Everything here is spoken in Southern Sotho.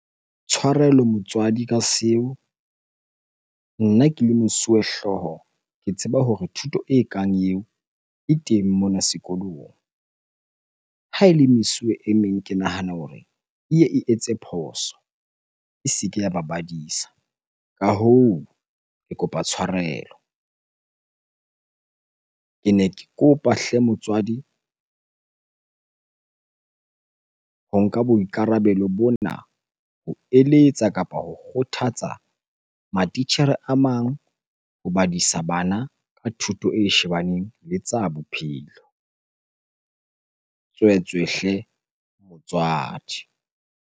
Tshwarelo motswadi ka seo. Nna ke le mosuwehlooho ke tseba hore thuto ekang eo e teng mona sekolong. Ha ele mesuwe e meng ke nahana hore e ye e etse phoso e se ke ya ba badisa. Ka hoo, ke kopa tshwarelo. Kene ke kopa hle motswadi ho nka boikarabelo bona ho eletsa kapa ho kgothatsa matitjhere a mang ho badisa bana ka thuto e shebaneng le tsa bophelo. Tswetswe hle motswadi.